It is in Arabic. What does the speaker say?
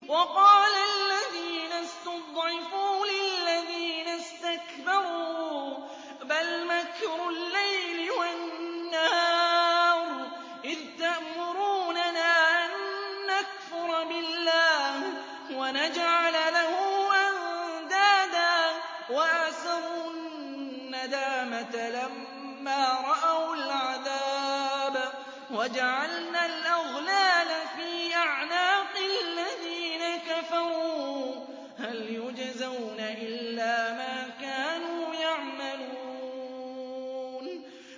وَقَالَ الَّذِينَ اسْتُضْعِفُوا لِلَّذِينَ اسْتَكْبَرُوا بَلْ مَكْرُ اللَّيْلِ وَالنَّهَارِ إِذْ تَأْمُرُونَنَا أَن نَّكْفُرَ بِاللَّهِ وَنَجْعَلَ لَهُ أَندَادًا ۚ وَأَسَرُّوا النَّدَامَةَ لَمَّا رَأَوُا الْعَذَابَ وَجَعَلْنَا الْأَغْلَالَ فِي أَعْنَاقِ الَّذِينَ كَفَرُوا ۚ هَلْ يُجْزَوْنَ إِلَّا مَا كَانُوا يَعْمَلُونَ